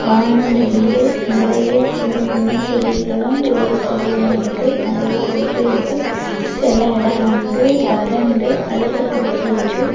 வானம் தெரியுது நறைய சின்ன சின்ன செடிகளு பெரிய செடிகளு இருக்கு நிறைய குப்பை இருக்கு சில இடம் வந்து வறண்டு அழுக்கு புடிச்சிருக்கு.